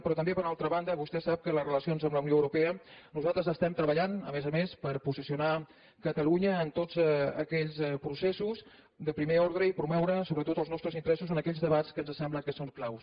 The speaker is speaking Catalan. però també per altra banda vostè sap que en les relacions amb la unió europea nosaltres estem treballant a més a més per posicionar catalunya en tots aquells processos de primer ordre i promoure sobretot els nostres interessos en aquells debats que ens sembla que són claus